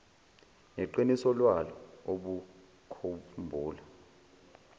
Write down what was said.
neqiniso lwalo ubokhumbula